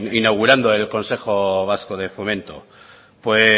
inaugurando el consejo vasco de fomento pues